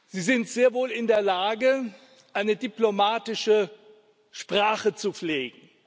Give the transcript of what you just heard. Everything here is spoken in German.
Sie sind sehr wohl in der Lage, eine diplomatische Sprache zu pflegen.